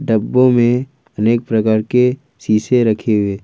डब्बो में अनेक प्रकार के शीशे रखे हुए।